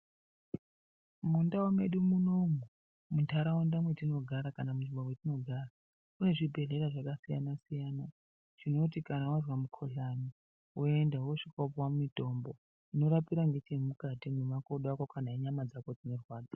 Mundau medu munomu mundaraunda matinogara kana munzvimbo matinogara mune zvibhehlera zvakasiyana siyana zvinoti kana wanzwa mukuhlani woenda wosvika wopuwa mitombo unorapira ngechemukati memakodo ako kana enyama dzako dzinorwadza.